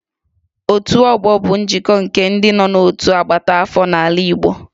Otu ọgbọ bụ njikọ nke ndị nọ n'otu agbata afọ n'ala Igbo